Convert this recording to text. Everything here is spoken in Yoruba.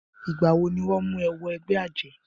Ìgbà wọ ni wọ́n mú wọ ẹgbẹ́ àjẹ́?